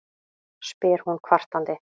spyr hún kvartandi.